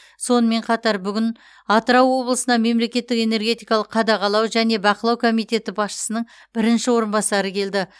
сонымен қатар бүгін атырау облысына мемлекеттік энергетикалық қадағалау және бақылау комитеті басшысының бірінші орынбасары келді